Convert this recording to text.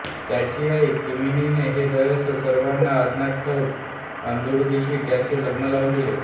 त्याची आई कामिनीने हे रहस्य सर्वांना अज्ञात ठेवून अरुंधतीशी त्याचे लग्न लावून दिले